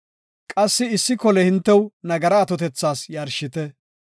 Qassi issi kole hintew nagaraa atotethas yarshite.